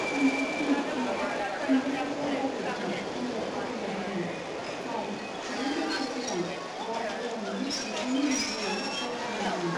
सम्भाजी नैथिआ चन्द्रशेखर जाधवजों मदद खालामजादोंमोन, जाय जि बोसोर सिगां बाजी रावनि बिफानि हेंथायै दावहा नांदोंमोन।